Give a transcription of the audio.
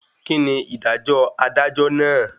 Kíni ìdájọ́ adájọ́ náà?